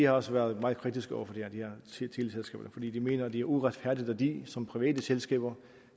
også været meget kritiske over for det her siger de fordi de mener at det er uretfærdigt at de som private selskaber